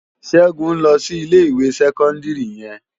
Segun n lò si Ilé iwé sèkòndiri yèn